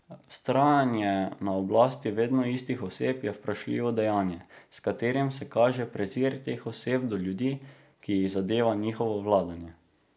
Vztrajanje na oblasti vedno istih oseb je vprašljivo dejanje, s katerim se kaže prezir teh oseb do ljudi, ki jih zadeva njihovo vladanje.